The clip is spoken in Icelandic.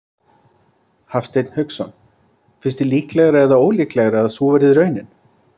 Hafsteinn Hauksson: Finnst þér líklegra eða ólíklegra að sú verði raunin?